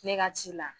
Ne ka ci la